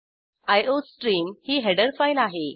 iostream ही header file आहे